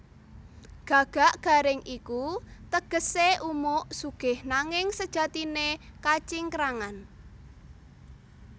Gagak garing iku tegesé umuk sugih nanging sejatiné kacingkrangan